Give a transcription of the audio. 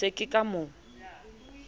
ke se ke ka mo